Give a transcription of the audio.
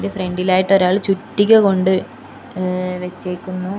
Front ഇലായിട്ട് ആയിട്ട് ഒരാൾ ചുറ്റിക കൊണ്ട് മ്മ് വെച്ചേക്കുന്നു.